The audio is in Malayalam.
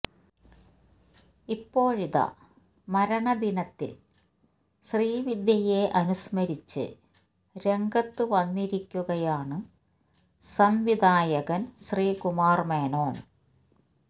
ഇപ്പോഴിതാ മരണദിനത്തില് ശ്രീവിദ്യയെ അനുസ്മരിച്ച് രംഗത്ത് വന്നിരിക്കുകയാണ് സംവിധായകന് ശ്രീകുമാര് മേനോന്